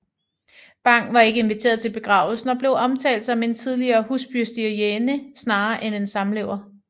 Bang var ikke inviteret til begravelsen og blev omtalt som en tidligere husbestyrerinde snarere end en samlever